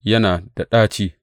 Yana da ɗaci!